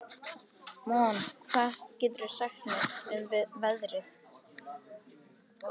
Mona, hvað geturðu sagt mér um veðrið?